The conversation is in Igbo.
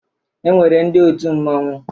E nwere ndị otu mmọnwụ.